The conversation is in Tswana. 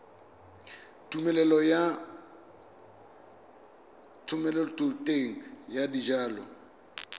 tumelelo ya thomeloteng ya dijalo